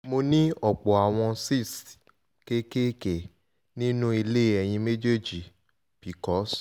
mo ní ọ̀pọ̀ àwọn cysts kéékèèké nínú ilé ẹyin méjèèjì (pcos)